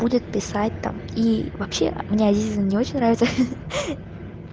будет писать там и вообще мне азиза не очень нравится